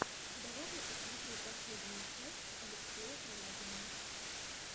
давай я посмотрю последнюю часть алексея корягина